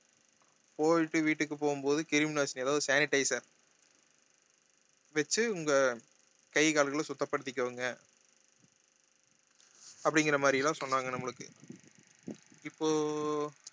போயிட்டு வீட்டுக்கு போகும் போது கிருமி நாசினி எதாவது sanitizer வெச்சி உங்க கை கால்கள சுத்தப்படுத்திக்கோங்க அப்படிங்கற மாதிரியெல்லாம் சொன்னாங்க நம்மளுக்கு இப்போ